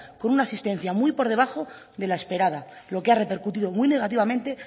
con una asistencia muy por debajo de la esperada lo que ha repercutido muy negativamente